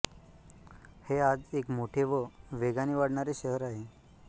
हे आज एक मोठे व वेगाने वाढणारे शहर आहे